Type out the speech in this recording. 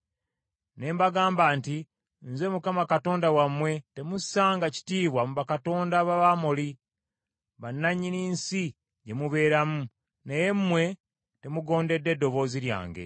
ne mbagamba nti, ‘Nze Mukama Katonda wammwe, temussanga kitiibwa mu bakatonda b’Abamoli, bannannyini nsi gye mubeeramu.’ Naye mmwe temugondedde ddoboozi lyange.”